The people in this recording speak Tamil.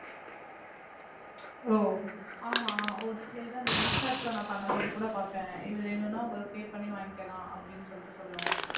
ஓ ஆமா ஒரு சில இது அந்த இன்ஷாட்ல நா பண்ணும் போது கூட பார்த்தேன் இது வேணும்னா உங்களுக்கு pay பண்ணி வாங்கிக்கலாம் அப்படின்னு சொல்லிட்டு சொல்லும்